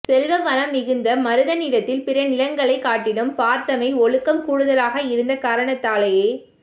செல்வ வளம் மிகுந்த மருதநிலத்தில் பிற நிலங்களைக் காட்டிலும் பரத்தமை ஒழுக்கம் கூடுதலாக இருந்த காரணத்தாலேயே